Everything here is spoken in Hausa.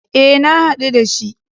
E, na haɗu da shi.